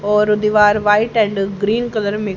और दीवार white and green colour में--